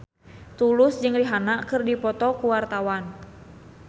Tulus jeung Rihanna keur dipoto ku wartawan